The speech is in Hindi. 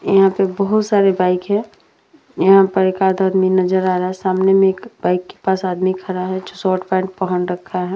यहाँ पे बहोत सारे बाइक है। यहाँ पर एक आध आदमी नजर आ रहा है। सामने बाइक के पास एक आदमी खड़ा है जो शॉर्ट पैंट पहन रखा है।